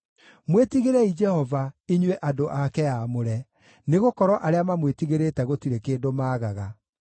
Mwĩtigĩrei Jehova, inyuĩ andũ ake aamũre, nĩgũkorwo arĩa mamwĩtigĩrĩte gũtirĩ kĩndũ maagaga.